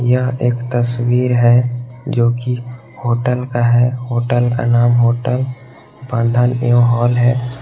यहां एक तस्वीर है जोकि होटल का है होटल का नाम होटल बंधन एवं हॉल है।